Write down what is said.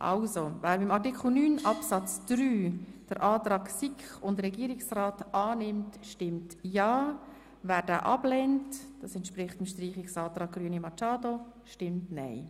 Wer bei Artikel 9 Absatz 3 den Antrag SiK und Regierung annimmt, stimmt ja, wer ihn ablehnt, was dem Streichungsantrag der Grünen entspricht, stimmt nein.